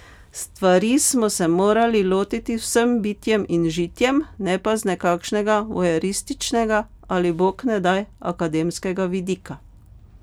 Stvari smo se morali lotiti z vsem bitjem in žitjem, ne pa z nekakšnega voajerističnega ali bognedaj akademskega vidika.